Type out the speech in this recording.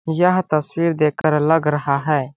यह तस्वीर देख कर लग रहा है।